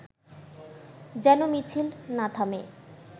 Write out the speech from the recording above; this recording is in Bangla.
যেন মিছিল না থামে